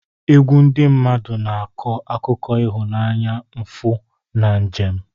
Egwu ndị mmadụ na-akọ akụkọ ịhụnanya, mfu, na njem.